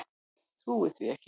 Trúði því ekki.